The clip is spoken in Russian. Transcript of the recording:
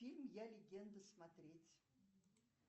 фильм я легенда смотреть